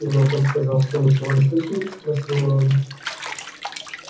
и локон сказал что ничего не слышал спросил рон